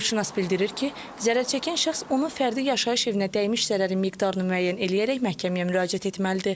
Hüquqşünas bildirir ki, zərərçəkən şəxs onun fərdi yaşayış evinə dəymiş zərərin miqdarını müəyyən eləyərək məhkəməyə müraciət etməlidir.